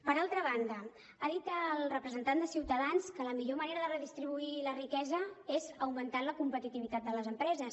per altra banda ha dit el representant de ciutadans que la millor manera de redistribuir la riquesa és augmentant la competitivitat de les empreses